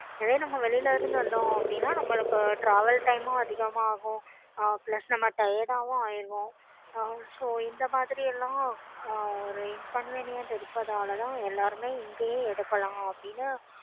இதுவே நம்ப வெளிய இருந்து வந்தோம் அப்படினா நம்பளுக்கு travel time அதிகம் ஆகும் Plus ஆஹ் நம்ப Tired ஹம் ஆகிடுவோம். so இந்தமாதிரிலாம் ஹம் ஒரு inconvenient இருக்கறதுனால தான் எல்லாருமே இங்கேயே எடுக்கலாம்